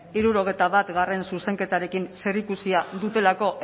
hirurogeita batgarrena zuzenketarekin zerikusia dutelako